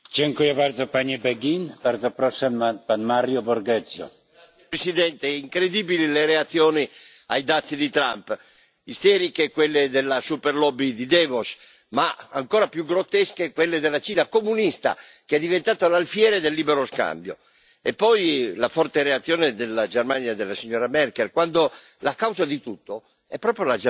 Signor Presidente, onorevoli colleghi, incredibili le reazioni ai dazi di Trump. Isteriche quelle della super lobby di Davos, ma ancora più grottesche quelle della Cina comunista, che è diventata l'alfiere del libero scambio. E poi la forte reazione della Germania e della signora Merkel, quando la causa di tutto è proprio la Germania